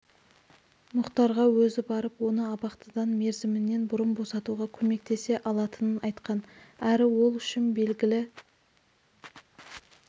мұхтарға өзі барып оны абақтыдан мерзімінен бұрын босатуға көмектесе алатынын айтқан әрі ол үшін белгілі